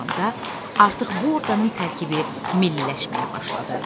da artıq bu orqanın tərkibi milliləşməyə başladı.